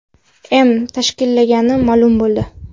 M. tashkillagani ma’lum bo‘ldi.